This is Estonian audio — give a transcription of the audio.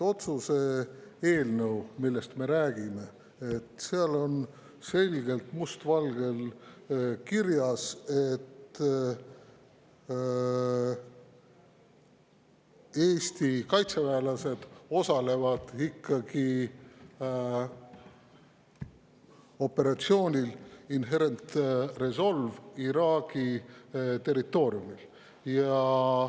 Otsuse eelnõus, millest me räägime, on selgelt must valgel kirjas, et Eesti kaitseväelased osalevad ikkagi operatsioonil Inherent Resolve Iraagi territooriumil.